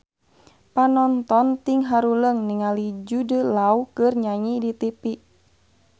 Panonton ting haruleng ningali Jude Law keur nyanyi di tipi